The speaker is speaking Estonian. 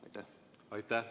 Aitäh!